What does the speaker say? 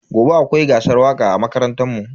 Gobe akwai gasar waka a makarantar mu.